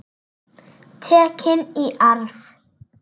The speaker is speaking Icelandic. Tekin í arf.